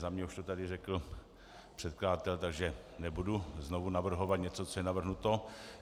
Za mě už to tady řekl předkladatel, takže nebudu znova navrhovat něco, co je navrhnuto.